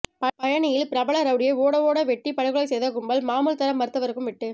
பழனியில் பிரபல ரவுடியை ஓட ஓட வெட்டி படுகொலை செய்த கும்பல் மாமூல் தர மறுத்தவருக்கும் வெட்டு